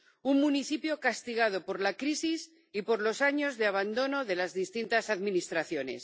Un municipio castigado por la crisis y por los años de abandono de las distintas administraciones.